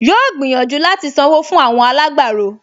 Yóò gbìyànjú láti sanwó fún àwọn alágbàro